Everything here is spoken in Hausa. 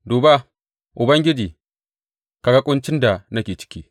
Duba, Ubangiji, ka ga ƙuncin da nake ciki!